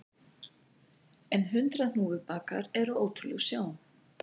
En hundrað hnúfubakar eru ótrúleg sjón